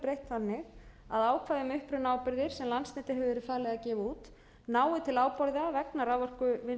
að ákvæði um upprunaábyrgðir sem landsneti hefur verið falið að gefa út nái til ábyrgða vegna raforkuvinnslu með endurnýjanlegum